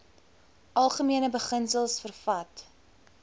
algemene beginsels vervat